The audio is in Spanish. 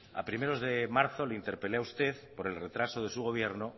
a principios de marzo le interpelé a usted por el retraso de su gobierno